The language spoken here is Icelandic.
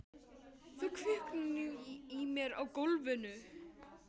Það kviknar í mér á gólfinu.